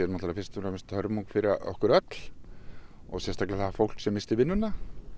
fyrst og fremst hörmung fyrir okkur öll og sérstaklega fólkið sem missti vinnuna